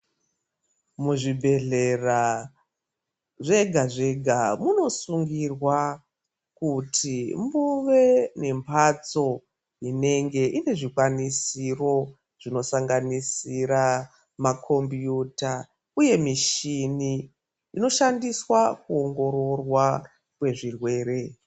Muzvibhedlera zvega munosungirwa kuti muve nembatso inenge ine zvikwanisiro zvinosanganisira makombiyuta uye muchini inoshandiswa kuoongoroorwa kwezvirwere .